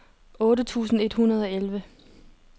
otte tusind et hundrede og elleve